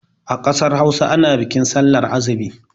A ƙasar Hausa ana bikin sallar azumi.